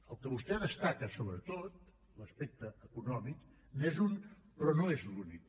el que vostè destaca sobretot l’aspecte econòmic n’és un però no és l’únic